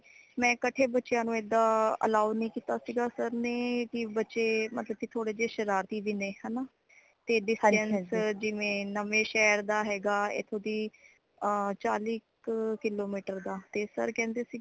ਮੈਂ ਕੱਠੇ ਬੱਚਿਆਂ ਨੂੰ ਏਦਾਂ allow ਨਹੀਂ ਕੀਤਾ ਸਿਗਾ sir ਨੇ ਕਿ ਬੱਚੇ ਮਤਲਬ ਕੀ ਥੋੜੇ ਜੇ ਸ਼ਰਾਰਤੀ ਵੀ ਨੇ ਹਣਾ ,ਤੇ distance ਜਿਵੇ ਨਵੇਂ ਸ਼ਹਰ ਦਾ ਹੇਗਾ ਇਥੋਂ ਦੀ ਅਹ ਚਾਹਲੀ ਕ kilometer ਦਾ ਤੇ sir ਕੇਂਦੇ